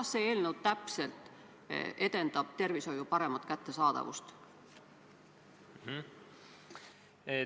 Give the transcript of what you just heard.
Kuidas see eelnõu täpselt edendab tervishoiu paremat kättesaadavust?